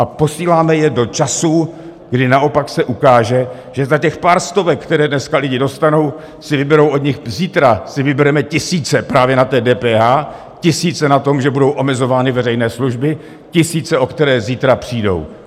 A posíláme je do časů, kdy naopak se ukáže, že za těch pár stovek, které dneska lidé dostanou, si vyberou od nich... zítra si vybereme tisíce právě na té DPH, tisíce na tom, že budou omezovány veřejné služby, tisíce, o které zítra přijdou.